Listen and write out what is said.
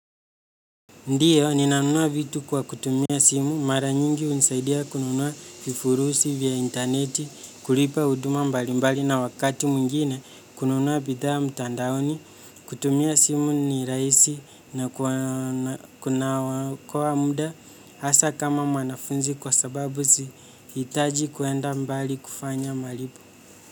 Ndiyo, ninanunua vitu kwa kutumia simu, mara nyingi hunisaidia kununua vifurushi vya intaneti, kulipa huduma mbalimbali na wakati mwingine, kununua bidhaa mtandaoni, kutumia simu ni rahisi na kunaokoa muda, hasa kama mwanafunzi kwa sababu sihitaji kwenda mbali kufanya malipo.